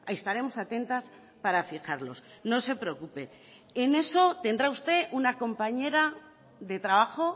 estaremos atentas para fijarlos no se preocupe en eso tendrá usted una compañera de trabajo